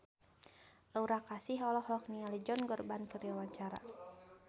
Aura Kasih olohok ningali Josh Groban keur diwawancara